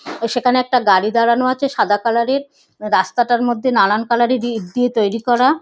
সেখানে একটা গাড়ি দাঁড়ানো আছে সাদা কালার -এর । রাস্তাটার মধ্যে নানান কালার -এর ইট দিয়ে তৈরি করা।